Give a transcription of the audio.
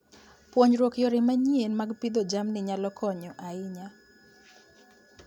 Puonjruok yore manyien mag pidho jamni nyalo konyo ahinya.